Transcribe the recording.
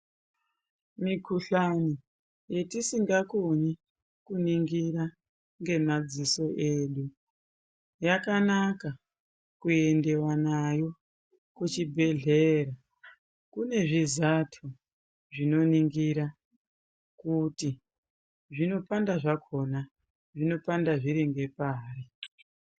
Mikhuhlani yetisingakoni kuningira ngemadziso edu yakanaka kuendiwa nayo kuchibhedhlera kune zvizato zvinoningire kuti zvinopanda zvakhona zvinopanda zviri ngepari.